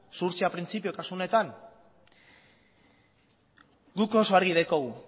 zuhurtzia printzipio kasu honetan guk oso argi daukagu